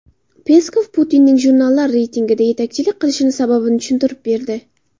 Peskov Putinning jurnallar reytingida yetakchilik qilishi sababini tushuntirib berdi.